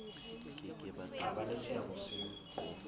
tla ba le seabo se